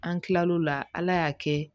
An kila l'o la ala y'a kɛ